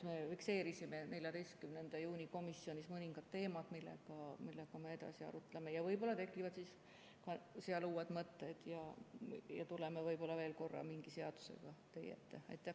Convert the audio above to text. Me fikseerisime 14. juuni komisjoni istungil mõningad teemad, mida me edasi arutame ja võib-olla tekivad uued mõtted ning me tuleme veel mingi seadusega teie ette.